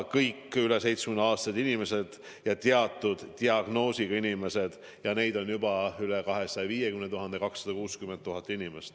Kõik üle 70-aastased inimesed ja teatud diagnoosiga inimesed – neid on juba üle 250 000, ligi 260 000.